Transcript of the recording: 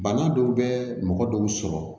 Bana dɔw bɛ mɔgɔ dɔw sɔrɔ